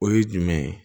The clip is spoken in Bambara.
O ye jumɛn ye